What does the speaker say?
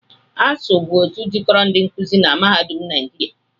ASUU bụ otu jikoro ndi nkuzi na mahadum naịjịria